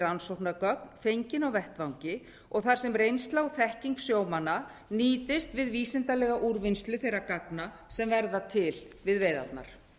rannsóknargögn fengin á vettvangi og þar sem reynsla og þekking sjómanna nýtist við vísindalega úrvinnslu þeirra gagna sem verða til við veiðarnar